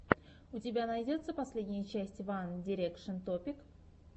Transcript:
у тебя найдется последняя часть ван дирекшен топик